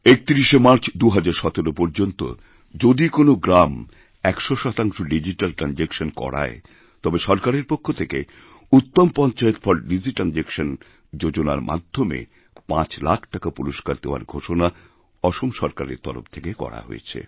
৩১শে March ২০১৭ পর্যন্ত যদি কোনও গ্রাম ১০০ শতাংশ ডিজিট্যাল ট্র্যানজাক্শনকরায় তবে সরকারের পক্ষ থেকে উত্তম পঞ্চায়েত ফর ডিজিট্র্যানজাক্শন যোজনারমাধ্যমে ৫ লাখ টাকা পুরস্কার দেওয়ার ঘোষণা অসম সরকারের তরফ থেকে করা হয়েছে